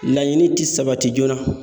Laɲini tɛ sabati joona.